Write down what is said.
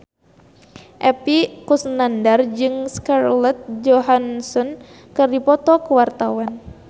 Epy Kusnandar jeung Scarlett Johansson keur dipoto ku wartawan